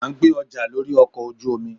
a n gbé ọja lorí ọkọ ojú omí